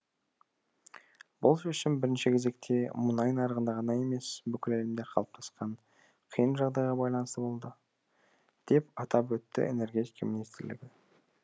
бұл шешім бірінші кезекте мұнай нарығында ғана емес бүкіл әлемде қалыптасқан қиын жағдайға байланысты болды деп атап өтті энергетика министрлігі